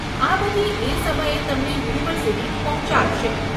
આ બધી એ સમયે તમને યુનિવર્સીટી પહોંચાડશે.